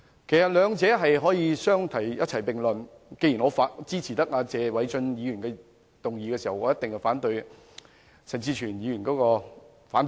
其實兩者可以相提並論，既然我支持謝偉俊議員的議案，我一定也反對陳志全議員的反對議案。